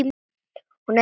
Hún er veik.